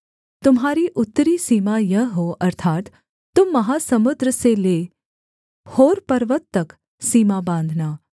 तुम्हारी उत्तरी सीमा यह हो अर्थात् तुम महासमुद्र से ले होर पर्वत तक सीमा बाँधना